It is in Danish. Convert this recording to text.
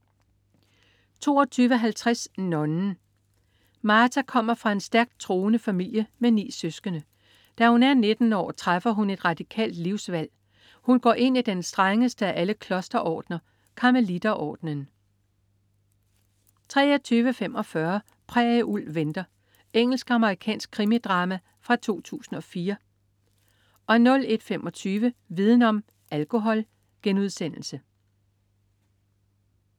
22.50 Nonnen. Marta kommer fra en stærkt troende familie med ni søskende. Da hun er 19 år, træffer hun et radikalt livsvalg: Hun går ind i den strengeste af alle klosterordner, Karmelitordnen 23.45 Prærieulv venter. Engelsk-amerikansk krimidrama fra 2004 01.25 Viden om: Alkohol*